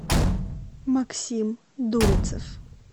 максим дульцев